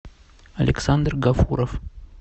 александр гафуров